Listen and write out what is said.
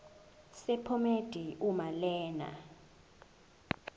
sephomedi uma lena